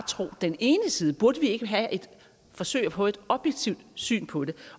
tro på den ene side burde vi ikke forsøge at få et objektivt syn på det